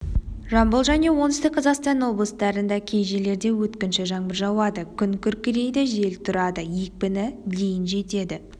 жамбыл және оңтүстік қазақстан облыстарындакей жерлерде өткінші жаңбыр жауады күн күркірейді жел тұрады екпіні дейін жетеді